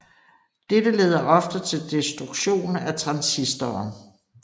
Dette leder ofte til destruktion af transistoren